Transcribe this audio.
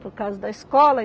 Por causa da escola.